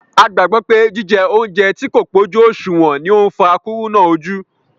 A gbàgbọ́ pé jije óúnjẹ tí kò pó jú ọ̀ṣùwọ̀n ni ó ń fa kúrúnà ojú